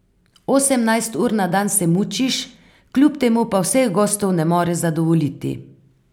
Osemnajst ur na dan se mučiš, kljub temu pa vseh gostov ne moreš zadovoljiti.